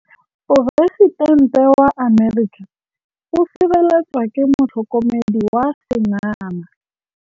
Poresitêntê wa Amerika o sireletswa ke motlhokomedi wa sengaga.